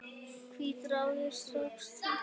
Hvít rák og stjarna